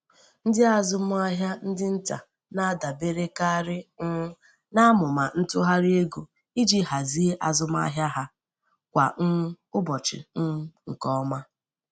Ndị azụmahịa ndị nta na-adaberekarị um n'amụma ntụgharị ego iji hazie azụmahịa ha kwa um ụbọchị um nke ọma.